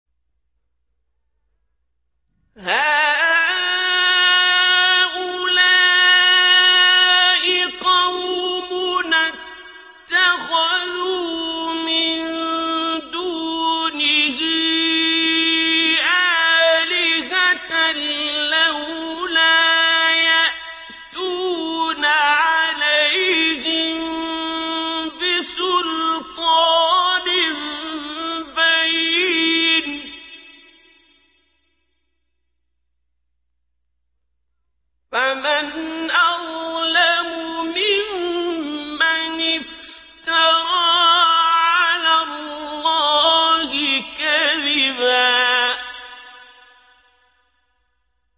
هَٰؤُلَاءِ قَوْمُنَا اتَّخَذُوا مِن دُونِهِ آلِهَةً ۖ لَّوْلَا يَأْتُونَ عَلَيْهِم بِسُلْطَانٍ بَيِّنٍ ۖ فَمَنْ أَظْلَمُ مِمَّنِ افْتَرَىٰ عَلَى اللَّهِ كَذِبًا